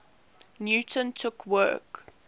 newton took work